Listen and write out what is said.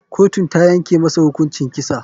Kotun tayanke masa hukuncin kisa.